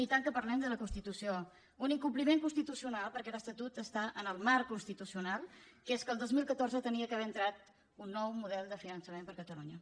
i tant que parlem de la constitució un incompliment constitucional perquè l’estatut està en el marc constitucional que és que el dos mil catorze hauria d’haver entrat un nou model de finançament per a catalunya